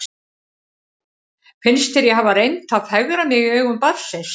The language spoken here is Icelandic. Finnst þér ég hafa reynt að fegra mig í augum barnsins?